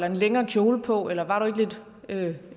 en længere kjole på eller var du ikke